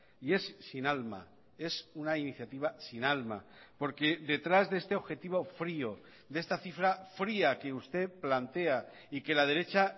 y es sin alma es una iniciativa sin alma porque detrás de este objetivo frío de esta cifra fría que usted plantea y que la derecha